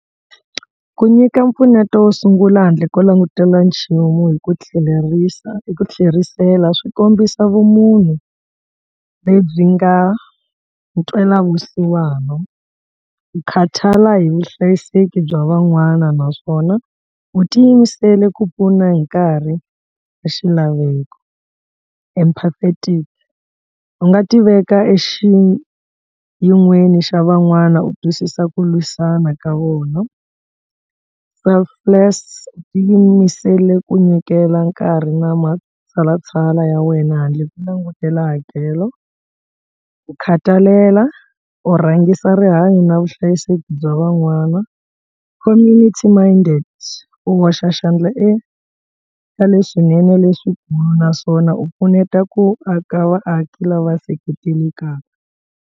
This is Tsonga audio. Ku nyika mpfuneto wo sungula handle ko langutela nchumu hi ku tlhelerisa i ku tlherisela swi kombisa vumunhu lebyi nga ntwelavusiwana ku khathala hi vuhlayiseki bya van'wana naswona u ti yimisele ku pfuna hi nkarhi wa xilaveko. Empathetic u nga ti veka exiyin'weni xa van'wana u twisisa ku lwisana ka vona, selfless u ti yimisele ku nyikela nkarhi na matshalatshala ya wena handle ko langutela hakelo, ku khatalela u rhangisa rihanyo na vuhlayiseki bya van'wana, community minded u hoxa xandla eka leswinene leswikulu naswona u pfuneta ku aka vaaki lava seketelekaka.